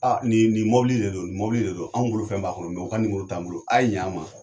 nin ni mɔbili de don, nin mobili de don, an bolo fɛn b'a kɔnɔ mɛ o ka nimoro t'an bolo aye ɲɛ an ma.